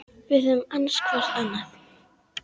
Við höfum annast hvor annan.